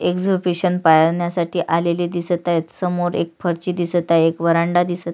exhibition पाहण्यासाठी आलेले दिसत आहेत समोर एक् फरशी दिसत आहे एक व्हरांडा दिसत--